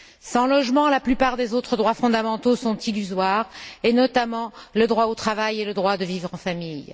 Sans logement, la plupart des autres droits fondamentaux sont illusoires et, notamment, le droit au travail et celui de vivre en famille.